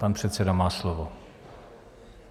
Pan předseda má slovo.